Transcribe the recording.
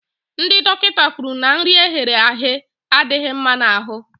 Ndị dọkịta kwuru na nri eghere aghe adịghị mma n'ahụ